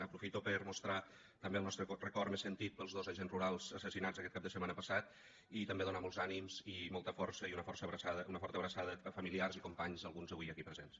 aprofito per mostrar també el nostre record més sentit pels dos agents rurals assassinats aquest cap de setmana passat i també donar molts ànims i molta força i una forta abraçada a familiars i companys alguns avui aquí presents